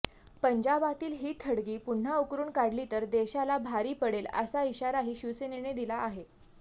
पंजाबातील ही थडगी पुन्हा उकरून काढली तर देशाला भारी पडेल अशा इशाराही शिवसेनेने दिला आहे